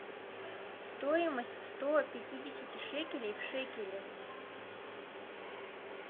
стоимость сто пятидесяти шекелей в шекели